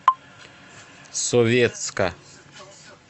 советска